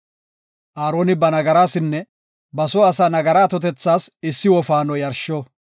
Aaroni ba nagarasinne ba soo asaa nagaraa atotethas issi wofaano yarsho.